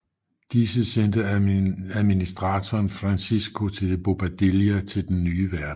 Disse sendte administratoren Francisco de Bobadilla til Den nye verden